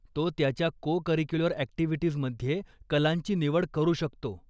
तो त्याच्या cocurricular अॅक्टिव्हिटीजमध्ये कलांची निवड करू शकतो.